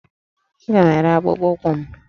Aga m ere akpụkpọ ụkwụ m